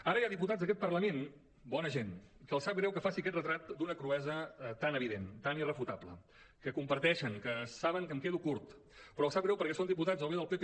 ara hi ha diputats d’aquest parlament bona gent que els sap greu que faci aquest retrat d’una cruesa tan evident tan irrefutable que ho comparteixen que saben que em quedo curt però els sap greu perquè són diputats o bé del pp